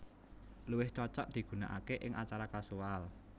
Luwih cocok digunakaké ing acara kasual